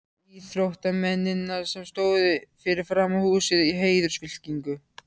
íþróttamennina, sem stóðu fyrir framan húsið í heiðursfylkingu.